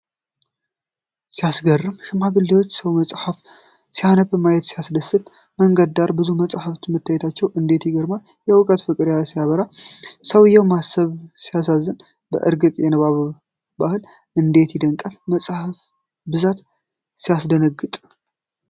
ሲያስገርም! ሽማግሌው ሰው መጽሐፍ ሲያነብ ማየት ሲያስደስት! በመንገድ ዳር ብዙ መጻሕፍት መታየታቸው እንዴት ይማርካል! የእውቀት ፍቅር ሲያበራ! የሰውየው ማሰብ ሲያሳዝን! በእርግጥ የንባብ ባህል እንዴት ይደነቃል! የመጻሕፍቱ ብዛት ሲያስደነግጥ!